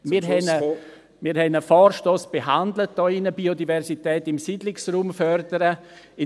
Wir haben hier in diesem Saal einen Vorstoss behandelt betreffend Biodiversität im Siedlungsraum fördern .